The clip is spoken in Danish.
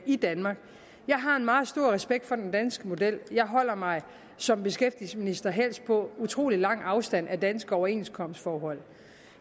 i danmark jeg har en meget stor respekt for den danske model jeg holder mig som beskæftigelsesminister helst på utrolig lang afstand af danske overenskomstforhold